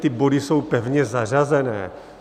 Ty body jsou pevně zařazené.